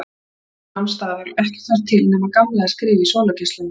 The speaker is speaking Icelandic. Tíminn nam staðar og ekkert var til nema Gamli að skrifa í sólargeislunum.